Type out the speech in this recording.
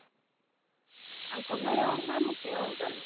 ତାଙ୍କ ଖାଇବା ଅଲଗା ଆମ ଖାଇବା ଅଲଗା